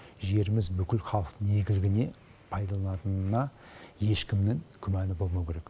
жеріміз бүкіл халықтың игілігіне пайдаланатынына ешкімнің күмәні болмауы керек